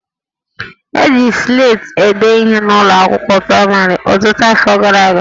E ji Sleti ede ihe n'ụlọ akwụkwọ praịmarị ọtụtụ afọ gara aga